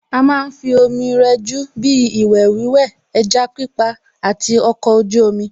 À má ń fi omi rẹjú bíi ìwẹ̀ wíwẹ̀, ẹja pípa àti ọkọ̀ ojú omi